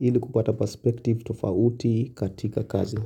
ili kupata perspective tofauti katika kazi.